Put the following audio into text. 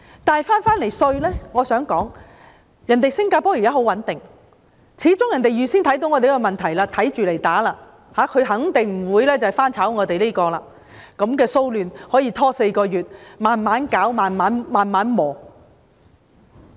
但是，說回稅務，我想說，新加坡現時很穩定，始終它預見了我們的問題，因應對付，肯定不會重蹈我們的覆轍，讓這樣的騷亂拖延4個月，"慢慢攪、慢慢磨"。